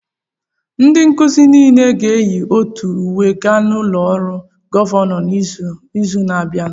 Ndị nkuzi niile aga-eyi otu uwe gaa n'ụlọ ọrụ gọvanọ n'izu na-abịa?